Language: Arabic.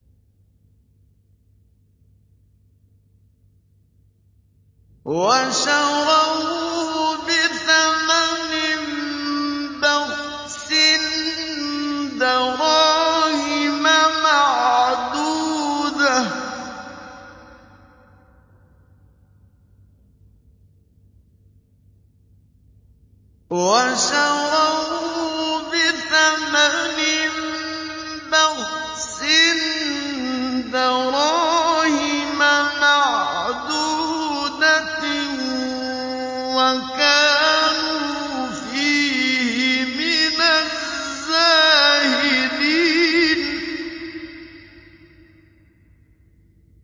وَشَرَوْهُ بِثَمَنٍ بَخْسٍ دَرَاهِمَ مَعْدُودَةٍ وَكَانُوا فِيهِ مِنَ الزَّاهِدِينَ